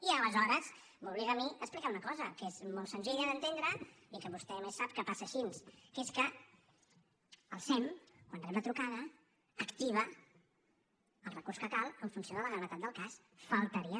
i aleshores m’obliga a mi a explicar una cosa que és molt senzilla d’entendre i que vostè a més sap que passa així que és que el sem quan rep la trucada activa el recurs que cal en funció de la gravetat del cas només faltaria